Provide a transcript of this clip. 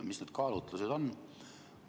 Mis need kaalutlused on?